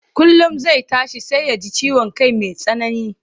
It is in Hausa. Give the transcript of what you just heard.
Kullum zai tashi sai ya ji ciwon kai mai tsanani,